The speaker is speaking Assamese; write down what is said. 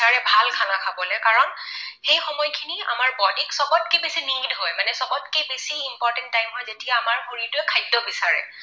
সেই সময়খিনি আমাৰ body ক চবতকৈ বেছি need হয় মানে চবতকৈ বেছি important time হয় যেতিয়া আমাৰ শৰীৰটোৱে খাদ্য বিচাৰে।